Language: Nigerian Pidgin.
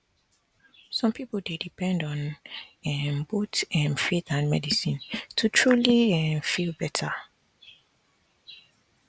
some people dey depend on um both um faith and medicine to truly um feel better